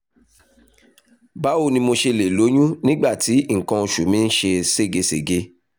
báwo ni mo ṣe lè lóyún nígbà tí nǹkan oṣù mi ń ṣe ségesège?